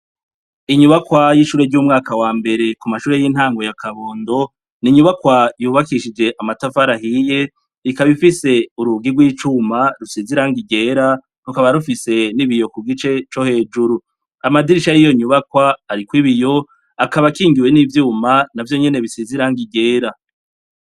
Inyubakwa y'ishure ry'umwaka wa mbere ku mashure y'intange yakabondo ninyubakwa yubakishije amatafarahiye rikabifise urugirw' icuma rusizirang igera rukaba rufise n'ibiyo ku gice co hejuru amadirisha y'iyo nyubakwa, ariko ibiyo akaba akingiwe n'ivyuma na vyo nyene bisizirango igera la.